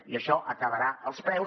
i això acabarà als preus